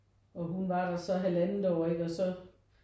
Og hun var der så halvandet år ikke og så